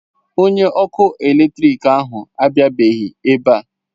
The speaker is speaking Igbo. Onye ọkụ eletrik ahụ abịabeghị ebe a.